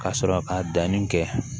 Ka sɔrɔ ka danni kɛ